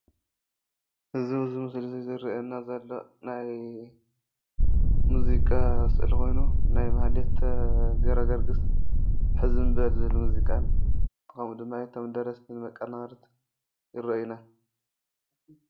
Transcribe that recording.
እዚ ኣብዚ ምስሊ ዝርአየና ዘሎ ናይ ሙዚቃ ስእሊ ኾይኑ ናይ ማህሌት ገረገርግስ ሕዝም በል ዝብል ሙዚቃን ከምኡ ድማ እቶም ደረፍትን መቀናበርትን ይረአዩና፡፡